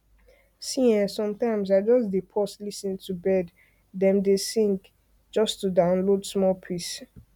see[um]sometimes i just dey pause lis ten to bird dem dey sing just to download small peace